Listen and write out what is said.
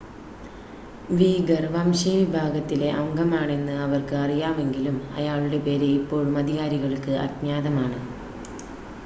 വീഗർ വംശീയ വിഭാഗത്തിലെ അംഗമാണെന്ന് അവർക്ക് അറിയാമെങ്കിലും അയാളുടെ പേര് ഇപ്പോഴും അധികാരികൾക്ക് അജ്ഞാതമാണ്